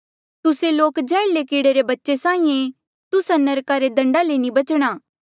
तुस्से लोक जैहर्ले कीड़े रे बच्चे साहीं ऐें तुस्सा नरका रे दण्डा ले नी बचणा